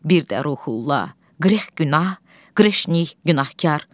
Bir də Ruhullah, qrex günah, qreşnik günahkar.